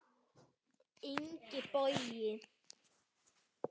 Ingi Bogi.